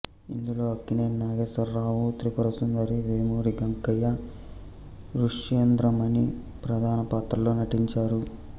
ఇందులో అక్కినేని నాగేశ్వరరావు త్రిపురసుందరి వేమూరి గగ్గయ్య రుష్యేంద్రమణి ప్రధాన పాత్రలలో నటించారు